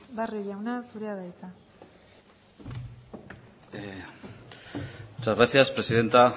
barrio jauna zurea da hitza muchas gracias presidenta